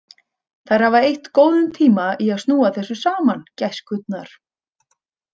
Þær hafa eytt góðum tíma í að snúa þessa saman, gæskurnar.